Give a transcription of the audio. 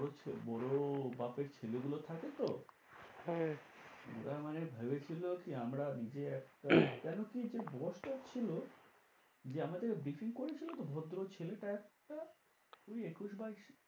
বড়ো বাপের ছেলে গুলো থাকে তো হ্যাঁ ওরা মানে ভেবে ছিলো কি আমরা নিজে একটা কেন কি যে boss টা ছিল যে আমাদের briefing করেছিল তো ভদ্র ছেলেটা একটা ওই একুশ বাইশ